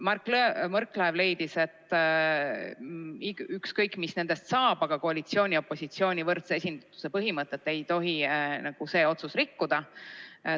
Mart Võrklaev leidis, et ükskõik, mis nendest saab, aga koalitsiooni ja opositsiooni võrdse esindatuse põhimõtet ei tohi see otsus rikkuda.